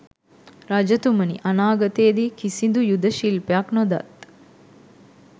රජතුමනි, අනාගතයේ දී කිසිදු යුධ ශිල්පයක් නොදත්